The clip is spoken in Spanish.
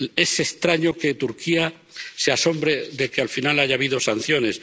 Es extraño que Turquía se asombre de que al final haya habido sanciones.